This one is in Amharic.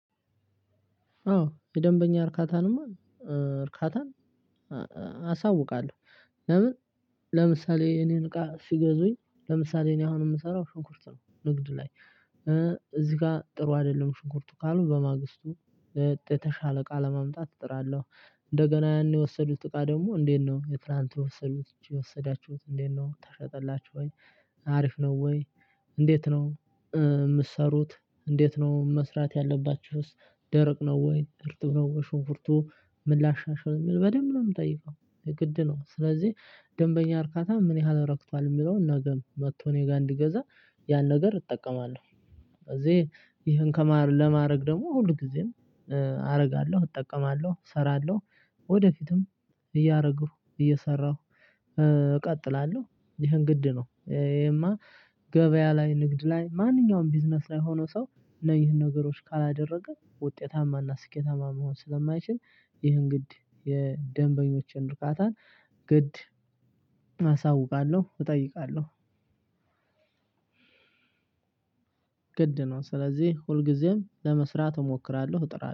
አዎ የደንበኛ እርካታንማ እርካታ አሳውቃለሁ። ለምን? ለምሳሌ እኔን እቃ ሲገዙኝ ለምሳሌ እኔ አሁን የምሰራው ሽንኩርት ነው ንግድ ላይ። እዚህ ጋር ጥሩ አይደለም ሽንኩርቱ ካሉ በማግስቱ የተሻለ እቃ ለማምጣት እጥራለሁ። እንደገና ያኔ የወሰዱት እቃ ደግሞ እንዴት ነው? የትላንት የወሰዱት የወሰዳችሁት እንዴት ነው ተሸጠላችሁ ወይ? አሪፍ ነው ወይ? እንዴት ነው የምትሰሩት? እንዴት ነው መስራት ያለባችሁስ? ደረቅ ነወይ እርጥብ ነወይ? ሽንኩርቱ ምን ላሻሻል በደንብ ነው የምጠይቀው። ግድ ነው ስለዚህ ደንበኛ እርካታ ምን ያህል ረክቷል የሚለውን ነገም መጥቶ እኔ ጋር እንዲገዛ ያን ነገር እጠቀማለሁ። ስለዚህ ይህን ከማድረግ ለማድረግ ደግሞ ሁል ጊዜም አደርጋለሁ እጠቀማለሁ እሰራለሁ። ወደፊትም እረግሁ እየሰራሁ እቀጥላለሁ። ይሄን ግድ ነው ይሄማ ገበያ ላይ ንግድ ላይ ማንኛውም ቢዝነስ ላይ ሆኖ ሰው ነው ይህን ነገሮች ካላደረገ ውጤታማና ስኬታማ መሆን ስለማይችል ይህን ግድ የደንበኞችን እርካታ ግድ አሳውቃለሁ እጠይቃለሁ። ግድ ነው ስለዚህ ሁልጊዜም ለመስራት እሞክራለሁ እጥራለሁ